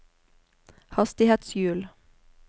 hastighetshjul